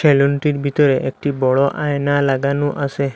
সেলুনেটির ভিতরে একটি বড় আয়না লাগানু আসে।